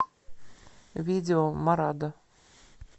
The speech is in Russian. видео морадо